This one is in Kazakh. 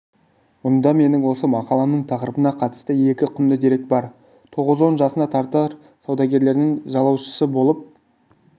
мұнда менің осы мақаламның тақырыбына қатысты екі құнды дерек бар тоғыз-он жасында татар саудагерлерінің жалаушысы болып